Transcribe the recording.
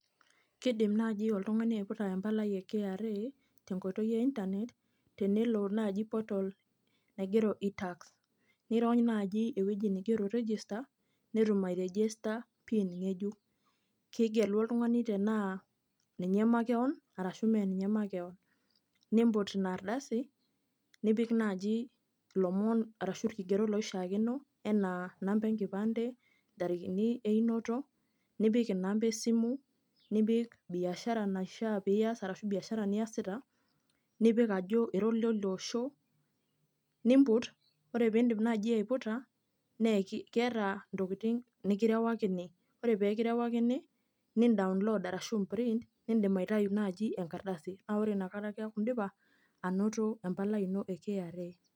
Kidim naji oltung'ani aiputa empalai e KRA, tenkoitoi e Internet, tenelo naji portal naigero i-tax. Nirony naji ewueji nigero register, netum airejesta PIN ng'ejuk. Kigelu oltung'ani tenaa ninye makeon, arashu meninye makeon. Nimput inardasi, nipik naji ilomon arashu irkigerot loishaakino, enaa namba enkipande, ntarikini einoto, nipik inamba esimu, nipik biashara naishaa pias arashu biashara niasita, nipik ajo ira olioliosho, nimput, ore pidip naji aiputa, keeta intokiting nikirewakini. Ore pekirewakini, ni download arashu i print, nidim aitayu naji enkardasi. Na ore inakata keeku idipa, anoto empalai ino e KRA.